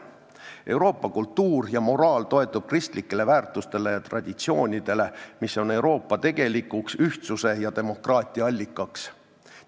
Euroopa kultuur ja moraal toetuvad kristlikele väärtustele ja traditsioonidele, mis on tegelikuks Euroopa ühtsuse ja demokraatia allikaks.